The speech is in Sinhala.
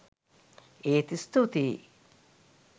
ඒත් ස්තුතියි!